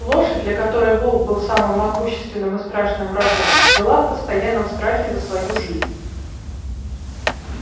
лошадь для которой волк был самым могущественным и страшным врагом жила в постоянном страхе за свою жизнь